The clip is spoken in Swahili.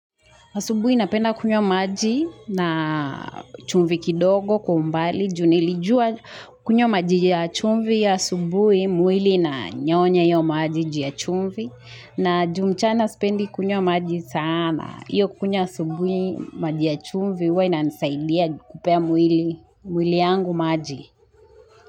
Asubui napenda kunywa maji na chumvi kidogo kumbali, junilijua kunywa maji ya chumvi ya asubui mwili na nyonya yo maji jia chumvi. Na ju mchana spendi kunywa maji sana. Iyo kunywa asubui maji ya chumvi huwa ina nisaidia kupea mwili yangu maji.